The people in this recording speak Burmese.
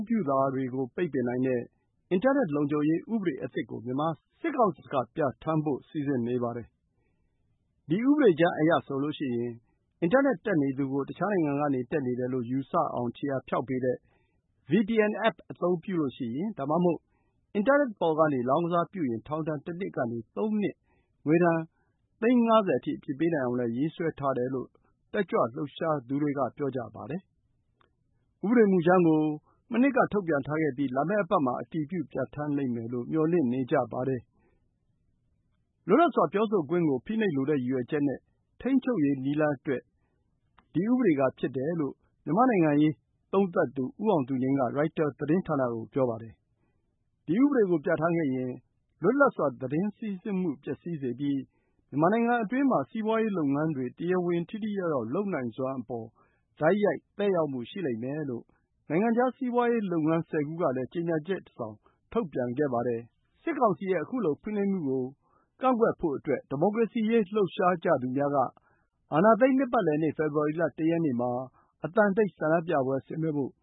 းပြုတာတွေကို ပိတ်ပင်နိုင်တဲ့ အင်တာနက် လုံခြုံရေး ဥပဒေသစ်ကို မြန်မာစစ်ကောင်စီက ပြဋ္ဌာန်းဖို့ စီစဉ်နေပါတယ်။ ဒီဥပဒေကြမ်းအရဆိုရင် အင်တာနက် တက်နေသူကို တခြားနိုင်ငံကနေ တက်နေတယ်လို့ ယူဆအောင် ခြေရာဖျောက်ပေးတဲ့ VPN အက်ပ် အသုံးပြုရင်၊ အင်တာနက်ပေါ်ကနေ လောင်းကစားပြုရင် ထောင်ဒဏ် ၁ နှစ်ကနေ ၃ နှစ်၊ ငွေဒဏ် သိန်း ၅၀ အထိ အပြစ်ပေးနိုင်အောင်လည်း ရေးဆွဲထားတယ်လို့ တက်ကြွလှုပ်ရှားသူတွေက ပြောပါတယ်။ ဥပဒေမူကြမ်းကို မနှစ်က ထုတ်ပြန်ထားခဲ့ပြီး လာမယ့်အပတ်မှာ အတည်ပြု ပြဋ္ဌာန်းလိမ့်မယ်လို့ မျှော်လင့်နေကြပါတယ်။ “လွတ်လပ်စွာပြောဆိုခွင့်ကို ဖိနှိပ်လိုတဲ့ ရည်ရွယ်ချက်နဲ့ ထိန်းချုပ်ရေး နည်းလမ်းအတွက်” ဖြစ်တယ်လို့ မြန်မာ့နိုင်ငံရေး သုံးသပ်သူ ဦးအောင်သူငြိမ်းက ရိုက်တာသတင်းဌာနကို ပြောပါတယ်။ ဒီဥပဒေကို ပြဋ္ဌာန်းခဲ့ရင် လွတ်လပ်စွာ သတင်းစီးဆင်းမှု ပျက်စီးစေပြီး မြန်မာနိုင်ငံအတွင်းမှာ စီးပွားရေးလုပ်ငန်းတွေ တရားဝင် ထိထိရောက်ရောက် လုပ်နိုင်စွမ်းအပေါ် တိုက်ရိုက်သက်ရောက်မှု ရှိလိမ့်မယ်လို့ နိုင်ငံခြားစီးပွားရေးလုပ်ငန်း ၁၀ ခုကလည်း ကြေညာချက်တစောင် ထုတ်ပြန်ခဲ့ပါတယ်။ စစ်ကောင်စီရဲ့ အခုလို ဖိနှိပ်မှုတွေကို ကန့်ကွက်ဖို့အတွက် ဒီမိုကရေစီရေး လှုပ်ရှားကြသူများက အာဏာသိမ်း နှစ်ပတ်လည်နေ့ ဖေဖော်ဝါရီလ ၁ ရက်မှာ အသံတိတ် ဆန္ဒပြပွဲ ဆင်နွှဲဖို့